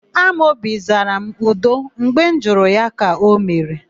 Amobi zara m, 'udo' mgbe m jụrụ ya ka o mere.